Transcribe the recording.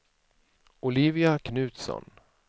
Olivia Knutsson